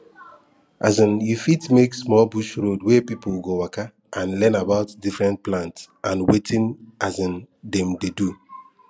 um you fit make small bush road wey people go waka and learn about different plant and wetin um dem dey do